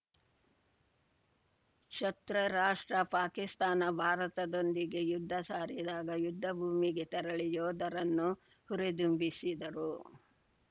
ಶತೃ ರಾಷ್ಟ್ರ ಪಾಕಿಸ್ತಾನ ಭಾರತದೊಂದಿಗೆ ಯುದ್ಧ ಸಾರಿದಾಗ ಯುದ್ಧ ಭೂಮಿಗೆ ತೆರಳಿ ಯೋಧರನ್ನು ಹುರಿದುಂಬಿಸಿದರು